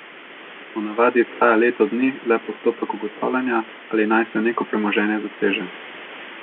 Po navadi traja leto dni le postopek ugotavljanja, ali naj se neko premoženje zaseže.